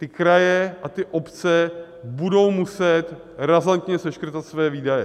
Ty kraje a ty obce budou muset razantně seškrtat své výdaje.